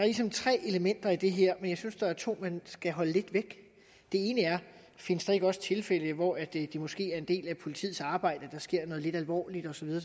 ligesom tre elementer i det her men jeg synes der er to man skal holde lidt væk det ene er findes der ikke også tilfælde hvor det måske er en del af politiets arbejde at der sker noget lidt alvorligt osv jo